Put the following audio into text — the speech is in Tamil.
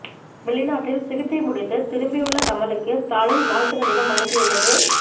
வெளிநாட்டில் சிகிச்சை முடித்து திரும்பி உள்ள கமலுக்கு ஸ்டாலின் வாழ்த்து கடிதம் அனுப்பி உள்ளது